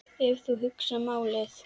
Ef þú hugsar málið.